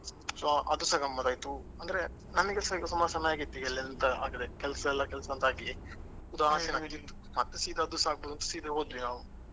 So ಅದು ಸ ಗಮ್ಮತ್ ಆಯ್ತು ಅಂದ್ರೆ ನಂಗೆಸ ಈಗ ಸುಮಾರು ಸಮಯ ಆಗಿತ್ತು ಈಗ ಎಲ್ಲೆಂತ ಆಟ ಕೆಲಸ ಎಲ್ಲ ಅಂತ ಆಗಿ ಉದಾಸೀನ ಆಗ್ತಿತ್ತು ಮತ್ತೆ ಸೀದಾ ಅದು ಸ ಆಗಬೋದು ಅಂತ ಸೀದಾ ಹೋದ್ವಿ ನಾವು.